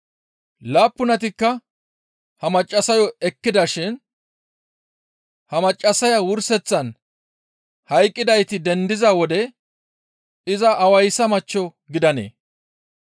Laappunatikka ha maccassayo ekkidashin ha maccassaya wurseththan hayqqidayti dendiza wode iza awayssa machcho gidanee?»